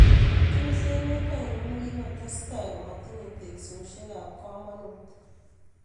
Tos emet ngiro ne kikotsetai komatinyei teksosiek ab kamanut?